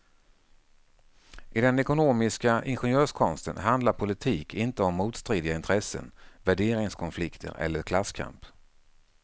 I den ekonomistiska ingenjörskonsten handlar politik inte om motstridiga intressen, värderingskonflikter eller klasskamp.